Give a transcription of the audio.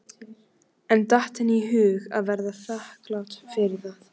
En datt henni í hug að vera þakklát fyrir það?